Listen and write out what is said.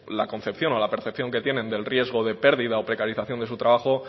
la concepción o la percepción que tiene del riesgo de pérdida o precarización de su trabajo